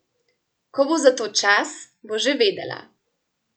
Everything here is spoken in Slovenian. Ko bo za to čas, bo že vedela.